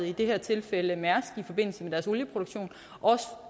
i det her tilfælde mærsk i forbindelse med deres olieproduktion